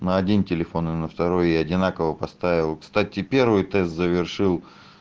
на один телефон и на второй я одинаково поставил кстати первый тест завершил